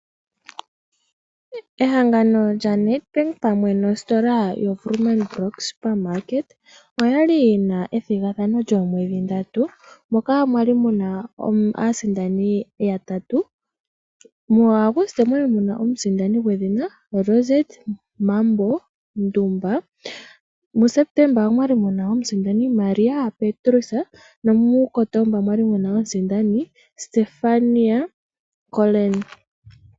Ehangano lyaNedbank pamwe nositola yaWoermann Brock Supermarket oyali yina ethigathano lyoomwedhi ndatu. Moka mwali muna aasindani yatatu. Mu August omwali muna omusindani gwedhina Rozetta Mambo Ndumba. Mu September omwali muna omusindani Maria Petrus, nomu Kotomba mwali muna omusindani Stephanie Coleman.